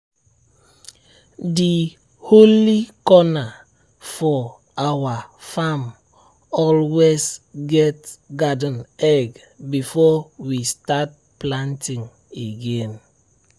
di holy corner for our farm always get garden egg before we start planting again.